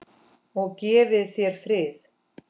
Og gefi þér frið.